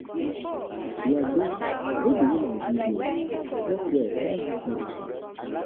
di agbo wey di woman give me um work well pass um dis medicine. um